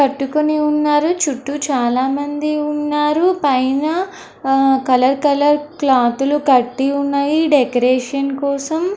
పట్టుకుని ఉన్నారు చుట్టూ చాలా మంది ఉన్నారు పైన కలర్ కలర్ క్లోత్ లు కట్టి ఉన్నాయి డెకొరేషన్ కోసం.